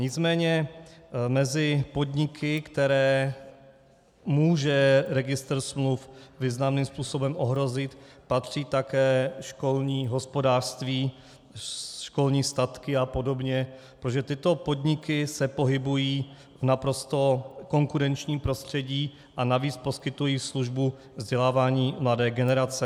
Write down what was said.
Nicméně mezi podniky, které může registr smluv významným způsobem ohrozit, patří také školní hospodářství, školní statky a podobně, protože tyto podniky se pohybují v naprosto konkurenčním prostředí a navíc poskytují službu vzdělávání mladé generace.